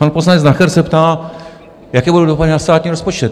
Pan poslanec Nacher se ptá: Jaké budou dopady na státní rozpočet?